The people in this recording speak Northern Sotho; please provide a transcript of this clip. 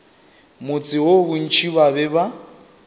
motse woo bontši ba be